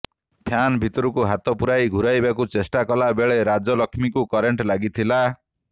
fan ଭିତରକୁ ହାତ ପୂରାଇ ଘୂରାଇବାକୁ ଚେଷ୍ଟାକଲା ବେଳେ ରାଜଲକ୍ଷ୍ମୀକୁ କରେଣ୍ଟ ଲାଗିଥିଲା